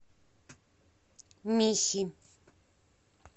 михи